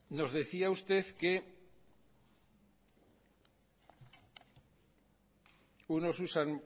nos decía usted que unos usan